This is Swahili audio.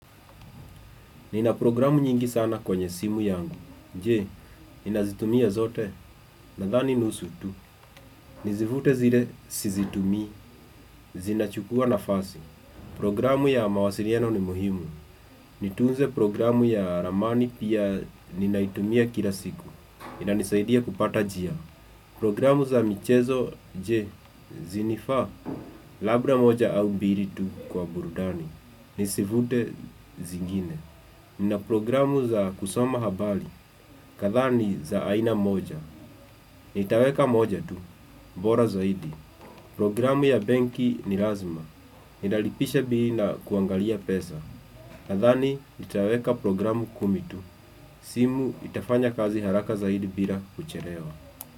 Nina programu nyingi sana kwenyebsimu yangu, je, ninazitumia zote, nadani nusu tu, nizivute zile sizitumi, zinachukua nafasi, programu ya mawasiriano ni muhimu, nitunze programu ya ramani pia ninaitumia kila siku, inanisaidia kupata jia, programu za michezo, je, zinifa, labra moja au mbiri tu kwa burudani, nizivute zingine, Nina programu za kusoma habali, katha ni za aina moja Nitaweka moja tu, mbora zaidi Programu ya benki ni lazima, ninalipisha bila kuangalia pesa nadhani nitaweka programu kumi tu, simu itafanya kazi haraka zaidi bila kuchelewa.